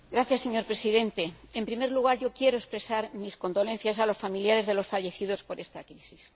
Señor Presidente, en primer lugar, quiero expresar mis condolencias a los familiares de los fallecidos por esta crisis.